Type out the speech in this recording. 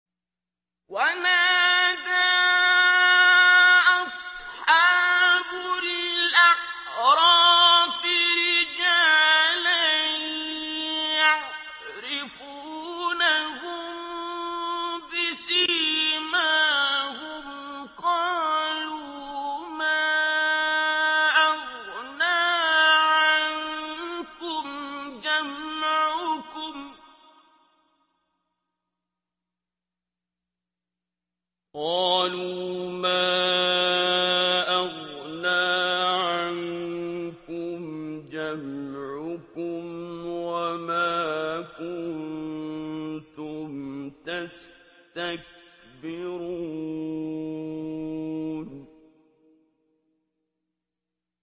وَنَادَىٰ أَصْحَابُ الْأَعْرَافِ رِجَالًا يَعْرِفُونَهُم بِسِيمَاهُمْ قَالُوا مَا أَغْنَىٰ عَنكُمْ جَمْعُكُمْ وَمَا كُنتُمْ تَسْتَكْبِرُونَ